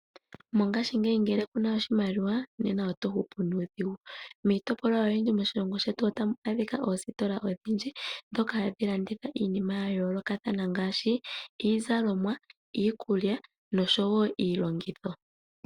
Mongaashi ngele ku na oshimaliwa nena oto hupu nuudhigu. Miitopolwa oyindji moshilongo shetu ota mu adhika oositola odhindji, ndhoka hadhi landitha iinima ya yoolokathana ngaashi iizalomwa, iikulya nosho wo iilongitho.